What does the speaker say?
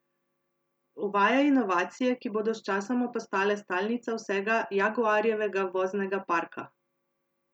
Uvaja inovacije, ki bodo sčasoma postale stalnica vsega Jaguarjevega voznega parka!